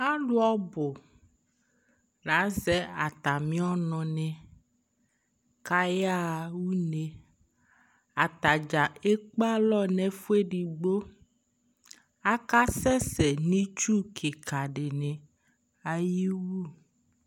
Alʋ ɔbʋ la azɛ atamɩ ɔnʋnɩ kʋ ayaɣa une Ata dza ekpe alɔ nʋ ɛfʋ edigbo Akasɛsɛ nʋ itsu kɩka dɩnɩ ayɩwu